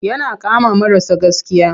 Yana kama marasa gaskiya.